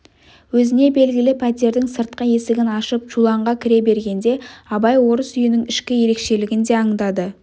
өзіне белгілі пәтердің сыртқы есігін ашып чуланға кіре бергенде абай орыс үйінің ішкі ерекшелігін де аңдады